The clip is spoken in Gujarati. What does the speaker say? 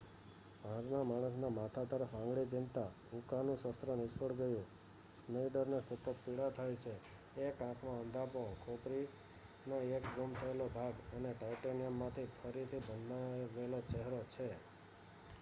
પાંચમાં માણસના માથા તરફ આંગળી ચીંધતાં ઉકાનું શસ્ત્ર નિષ્ફળ ગયું. સ્નેઈડરને સતત પીડા થાય છે 1 આંખમાં અંધાપો, ખોપરીનો એક ગુમ થયેલો ભાગ અને ટાઇટેનિયમમાંથી ફરીથી બનાવેલો ચહેરો છે